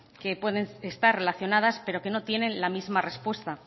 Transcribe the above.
que pueden estar relacionadas pero que no tienen la misma respuesta